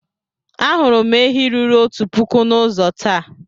Ahụrụ m ehi ruru otu puku n'ụzọ taa.